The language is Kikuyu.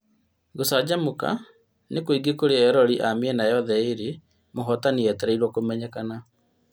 Gũcanjamũka nĩ kũingĩ kũrĩ eroreri wa mĩena yothe ĩrĩ, mũhotani etereirwo kũmenyekana